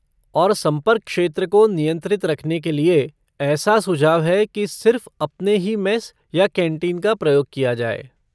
और संपर्क क्षेत्र को नियंत्रित रखने के लिए ऐसा सुझाव है कि सिर्फ़ अपने ही मेस या कैंटीन का प्रयोग किया जाए।